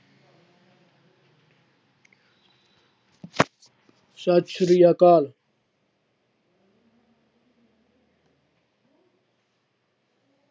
ਸਤਿ ਸ੍ਰੀ ਅਕਾਲ।